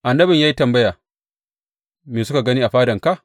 Annabin ya yi tambaya, Me suka gani a fadanka?